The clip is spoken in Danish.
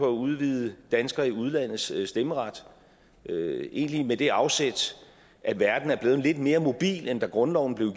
at udvide danskere i udlandets stemmeret egentlig med det afsæt at verden er blevet lidt mere mobil end da grundloven blev